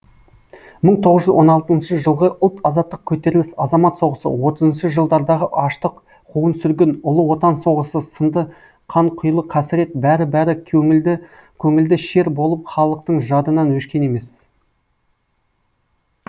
мың тоғыз жүз он алтыншы жылғы ұлт азаттық көтеріліс азамат соғысы отызыншы жылдардағы аштық қуғын сүргін ұлы отан соғысы сынды қанқұйлы қасірет бәрі бәрі көңілде шер болып халықтың жадынан өшкен емес